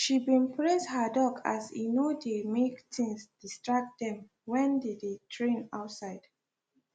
she been praise her dog as e no de make things distract them when they dey train outside